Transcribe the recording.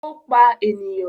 Ó pa ènìyàn?